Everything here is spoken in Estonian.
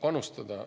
panustada.